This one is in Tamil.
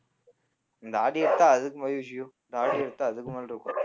இந்த தாடிய எடுத்தா அதுக்கு இந்த தாடிய எடுத்தா அதுக்கு மேல இருக்கும்